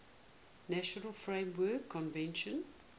nations framework convention